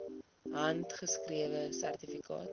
handgeskrewe sertifikate